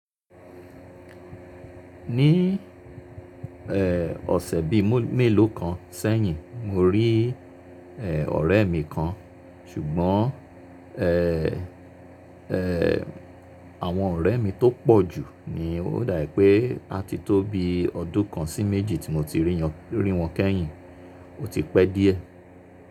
Ní èè ọ̀sẹ̀ bí i mélòó kan sẹ́yìn, mo rí èe ọ̀rẹ́ mi kan ṣùgbọ́n èèè èèè àwọn ọ̀rẹ́ mi tó pọ̀ jù ni ó dà pé a ti tó bi ọdún kan sí méjì tí mo ti rí wọn kẹ́yìn, ó ti pẹ́ díẹ̀.